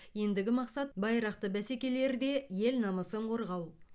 ендігі мақсат байрақты бәсекелерде ел намысын қорғау